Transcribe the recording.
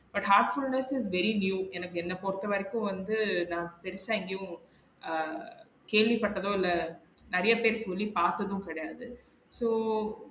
But half hours very new எனக்கு என்ன பொறுத்த வரைக்கும் வந்து நா பெருசா எங்கயோ ஆஹ் கேள்வி பட்டதோ இல்ல நெறைய பேர் சொல்லி பாத்ததும் கெடையாது so